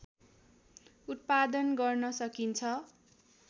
उत्पादन गर्न सकिन्छ